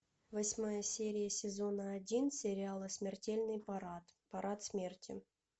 восьмая серия сезона один сериала смертельный парад парад смерти